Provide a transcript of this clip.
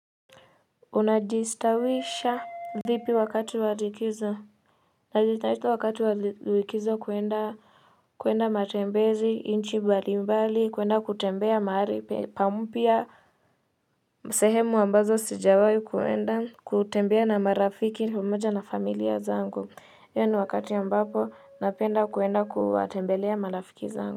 Unajistawisha vipi wakati wa likizo. Najitaito wakati walikizo kwenda matembezi, inchi balimbali, kuenda kutembea mahari pampya msehemu ambazo sijawai kuenda kutembea na marafiki pamoja na familia zangu. Hiyo ni wakati a mbapo, napenda kuenda kuwatembelea malafiki zangu.